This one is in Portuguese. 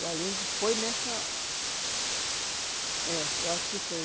O Allende foi nessa... É, eu acho que foi.